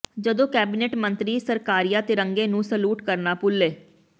ਜਦੋਂ ਕੈਬਨਿਟ ਮੰਤਰੀ ਸਰਕਾਰੀਆ ਤਿਰੰਗੇ ਨੂੰ ਸਲੂਟ ਕਰਨਾ ਭੁੱਲੇ